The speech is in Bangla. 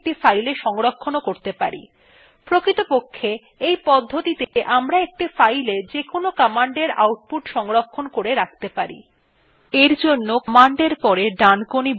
screena এই সমস্ত তথ্যগুলি শুধুমাত্র প্রদর্শন করার পরিবর্তে আমরা সেগুলি একটি file সংরক্ষণ করতে পারি প্রকৃতপক্ষে এই পদ্ধতিতে আমরা একটি file যেকোন command output সংরক্ষণ করে রাখতে পারি